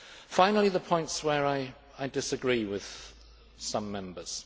Finally, the points where I disagree with some Members.